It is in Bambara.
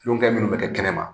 Kulongɛ minnu bɛ kɛ kɛnɛ ma